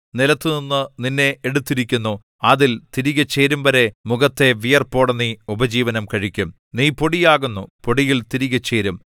നിലത്തുനിന്നു നിന്നെ എടുത്തിരിക്കുന്നു അതിൽ തിരികെ ചേരുംവരെ മുഖത്തെ വിയർപ്പോടെ നീ ഉപജീവനം കഴിക്കും നീ പൊടിയാകുന്നു പൊടിയിൽ തിരികെ ചേരും